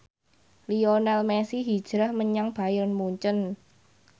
Lionel Messi hijrah menyang Bayern Munchen